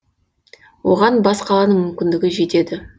оған бас қаланың мүмкіндігі жетеді